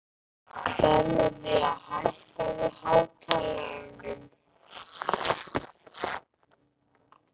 Bernódía, hækkaðu í hátalaranum.